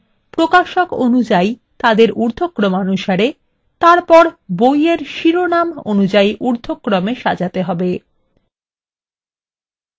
এবং প্রকাশক অনুযাই তাদের উর্ধক্রমানুসারে সাজানো তারপর বইয়ের শিরোনাম অনুসারে ঊর্ধক্রমে সাজাতে হবে